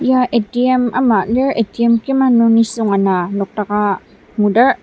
ya A_T_M ama lir A_T_M kima nung nisung ana nokdaka ngudar.